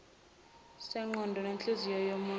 sengqondo nenhliziyo yomunye